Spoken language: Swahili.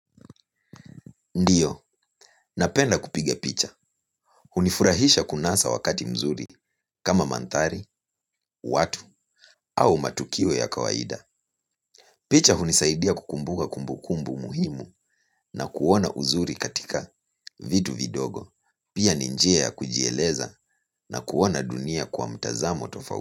Ndiyo, napenda kupiga picha. Hunifurahisha kunasa wakati mzuri kama mantari, watu au matukio ya kawaida. Picha hunisaidia kukumbuka kumbukumbu muhimu na kuona uzuri katika vitu vidogo. Pia ni njia ya kujieleza na kuona dunia kwa mtazamo tofauti.